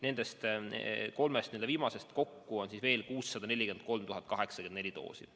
Nendest kolmest viimasest kokku on veel 643 804 doosi.